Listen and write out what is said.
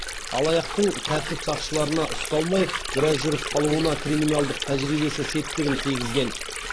алаяқтың тәртіп сақшыларына ұсталмай біраз жүріп қалуына криминалдық тәжірибесі септігін тигізген